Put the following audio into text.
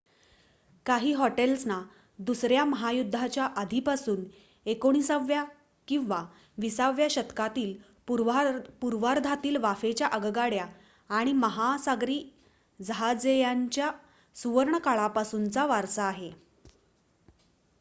काही हॉटेल्सना दुसऱ्या महायुद्धाच्या आधीपासून 19 व्या किंवा 20 व्या शतकातील पूर्वार्धातील वाफेच्या आगगाड्या आणि महासागरी जहाजेयांच्या सुवर्णकाळापासूनचा वारसा आहे